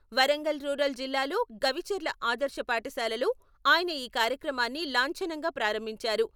Warangal rural జిల్లాలో గవిచర్ల ఆదర్శ పాఠశాలలో ఆయన ఈ కార్యక్రమాన్ని లాంఛనంగా ప్రారంభించారు.